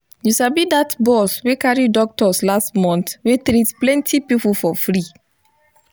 you sabi that bus wey carry doctors last month wey treat plenty people for free